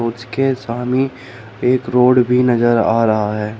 उसके सामने एक रोड भी नजर आ रहा है।